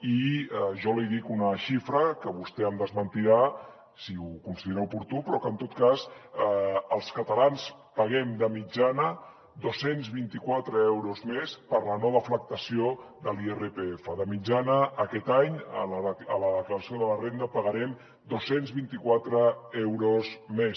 i jo li dic una xifra que vostè em desmentirà si ho considera oportú però que en tot cas els catalans paguem de mitjana dos cents i vint quatre euros més per la no deflactació de l’irpf de mitjana aquest any a la declaració de la renda pagarem dos cents i vint quatre euros més